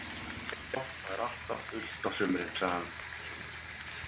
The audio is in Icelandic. Já, það er alltaf fullt á sumrin, sagði hann.